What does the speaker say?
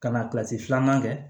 Ka na filanan kɛ